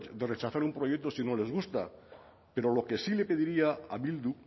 de rechazar un proyecto si no les gusta pero lo que sí le pediría a bildu